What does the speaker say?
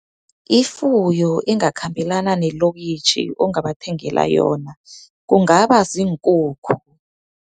Ifuyo engakhambelana nelokitjhi, ongabathengela yona, kungaba ziinkukhu.